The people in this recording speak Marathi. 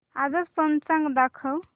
आजचं पंचांग दाखव